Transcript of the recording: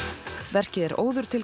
verkið er óður til